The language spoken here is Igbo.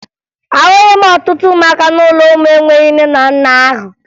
Ahụghị m ọtụtụ ụmụaka n'ụlọ ụmụ enweghi nne na nna ahụ